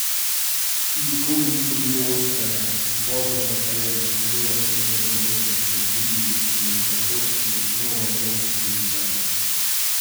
Nikoli ni dobil oskarja in pozno v karieri so njegove filme v umetnost povzdignili šele francoski novovalovski režiserji.